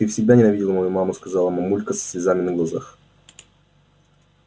ты всегда ненавидел мою маму сказала мамулька со слезами на глазах